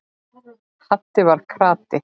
Haddi var krati.